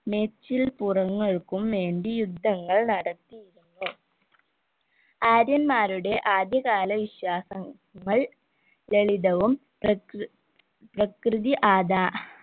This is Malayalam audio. മേച്ചിൽ പുറങ്ങൾക്കുംവേണ്ടി യുദ്ധങ്ങൾ നടത്തിയിരുന്നു ആര്യന്മാരുടെ ആദ്യകാല വിശ്വാസ ങ്ങൾ ലളിതവും പ്രകൃ പ്രകൃതി ആദാ